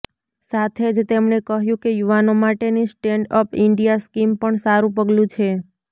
સાથે જ તેમણે કહ્યું કે યુવાનો માટેની સ્ટેન્ડ અપ ઈન્ડિયા સ્કીમ પણ સારૂં પગલું છે